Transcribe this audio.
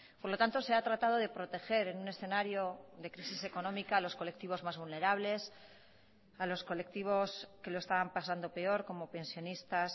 por lo tanto se ha tratado de proteger en un escenario de crisis económica a los colectivos más vulnerables a los colectivos que lo estaban pasando peor como pensionistas